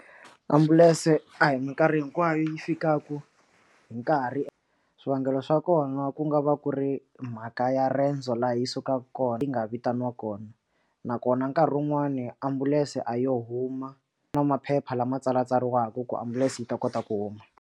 Ambulense a hi minkarhi hinkwayo yi fikaka hi nkarhi swivangelo swa kona ku nga va ku ri mhaka ya rendzo laha yi sukaka kona yi nga vitaniwa kona nakona nkarhi wun'wani ambulense a yo huma na maphepha lama tsalatsariwa mhaka ku ambulense yi ta kota ku huma.